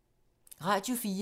Radio 4